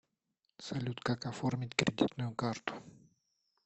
салют как оформить кредитную карту